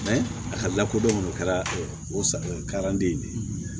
a ka lakodɔn o kɛra o saranden ye de